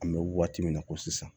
An bɛ waati min na ko sisan